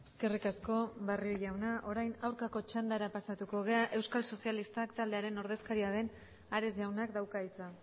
eskerrik asko barrio jauna orain aurkako txandara pasatuko gara euskal sozialistak taldearen ordezkaria den ares jaunak dauka hitza